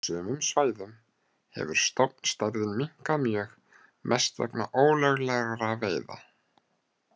Á sumum svæðum hefur stofnstærðin minnkað mjög, mest vegna ólöglegra veiða.